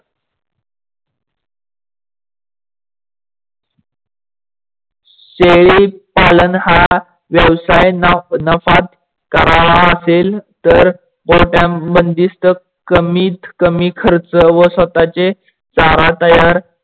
शेळी पालन हा व्यवसाय नाफत कारावा असेल तर कमीत कमीत खर्च व स्वताचे चारा तयार